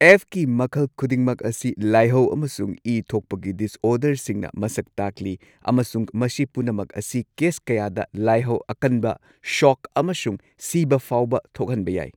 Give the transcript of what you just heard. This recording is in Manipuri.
ꯑꯦꯐꯀꯤ ꯃꯈꯜ ꯈꯨꯗꯤꯡꯃꯛ ꯑꯁꯤ ꯂꯥꯏꯍꯧ ꯑꯃꯁꯨꯡ ꯏ ꯊꯣꯛꯄꯒꯤ ꯗꯤꯁꯑꯣꯔꯗꯔꯁꯤꯡꯅ ꯃꯁꯛ ꯇꯥꯛꯂꯤ ꯑꯃꯁꯨꯡ ꯃꯁꯤ ꯄꯨꯝꯅꯃꯛ ꯑꯁꯤ ꯀꯦꯁ ꯀꯌꯥꯗ ꯂꯥꯏꯍꯧ ꯑꯀꯟꯕ, ꯁꯣꯛ ꯑꯃꯁꯨꯡ ꯁꯤꯕ ꯐꯥꯎꯕ ꯊꯣꯛꯍꯟꯕ ꯌꯥꯏ꯫